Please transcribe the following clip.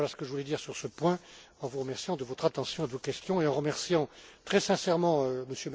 Voilà ce que je voulais dire sur ce point, en vous remerciant de votre attention et de vos questions, et en remerciant très sincèrement